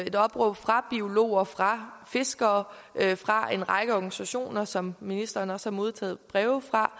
et opråb fra biologerne fra fiskerne og fra en række organisationer som ministeren også har modtaget breve fra